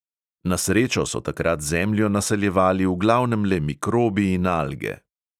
Na srečo so takrat zemljo naseljevali v glavnem le mikrobi in alge.